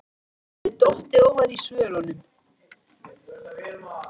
Að hann hefði dottið ofan af svölunum!